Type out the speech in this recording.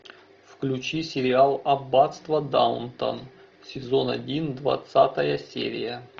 включи сериал аббатство даунтон сезон один двадцатая серия